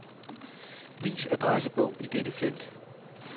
Vis adressebog i dette felt.